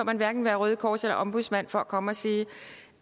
man hverken være røde kors eller ombudsmand for at komme og sige